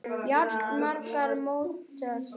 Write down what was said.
Jafnvel mark mótsins?